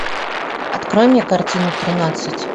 открой мне картину тринадцать